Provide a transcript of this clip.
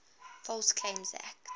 false claims act